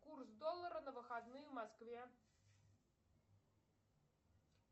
курс доллара на выходные в москве